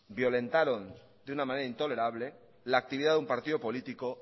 violentaron de una manera intolerable la actividad de un partido político